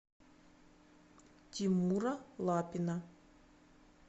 тимура лапина